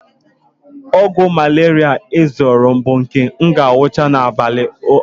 Ọgwụ malaria ahụ m zụrụ bụ nke m ga-aṅụcha n'abalị atọ